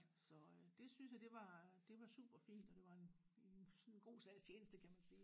Så øh det synes jeg det var det var super fint og det var en en i en god sags tjeneste kan man sige